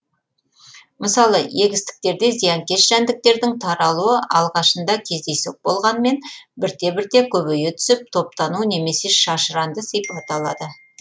мысалы егістіктерде зиянкес жәндіктердің таралуы алғашында кездейсоқ болғанымен бірте бірте көбейе түсіп топтану немесе шашыранды сипат алады